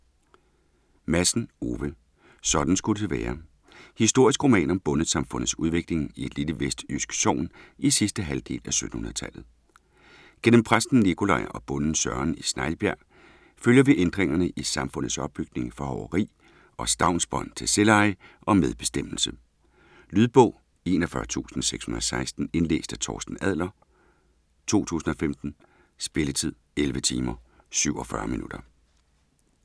Madsen, Ove: Sådan skulle det være Historisk roman om bondesamfundets udvikling i et lille vestjysk sogn i sidste halvdel af 1700-tallet. Gennem præsten Nicolaj og bonden Søren i Snejbjerg følger vi ændringerne i samfundets opbygning fra hoveri og stavnsbånd til selveje og medbestemmelse. Lydbog 41616 Indlæst af Torsten Adler, 2015. Spilletid: 11 timer, 47 minutter.